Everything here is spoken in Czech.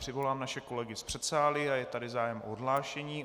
Přivolám naše kolegy z předsálí a je tady zájem o odhlášení.